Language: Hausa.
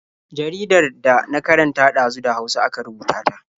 Jaridar da na karanta ɗazu da Hausa aka rubuta ta.